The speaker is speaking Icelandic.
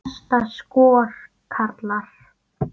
Besta skor, karlar